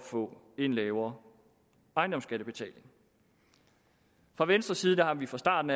få en lavere ejendomsskattebetaling fra venstres side har vi fra starten